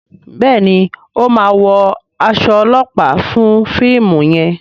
Béèni o má wọ as olopa fún fíìmù yen.